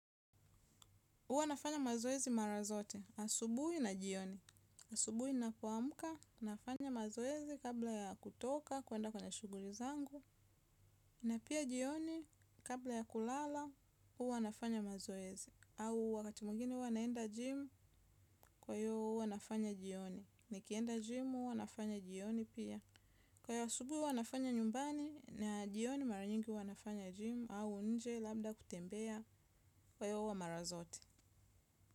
Hwa nafanya mazoezi mara zote. Asubuhi na jioni. Asubuhi ninapoamka, nafanya mazoezi kabla ya kutoka, kuenda kwenye shughuli zangu. Na pia jioni kabla ya kulala, huwa nafanya mazoezi. Au wakati mwingine huwa naenda jimu, kwa hiyo huwa nafanya jioni. Nikienda jimu, huwa nafanya jioni pia. Kwa hiyo asubuhi huwa nafanya nyumbani, na jioni mara nyingi huwa nafanya jimu, au nje labda kutembea kwa hiyo huwa mara zote.